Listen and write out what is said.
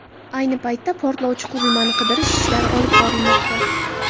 Ayni paytda portlovchi qurilmani qidirish ishlari olib borilmoqda.